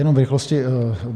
Jenom v rychlosti.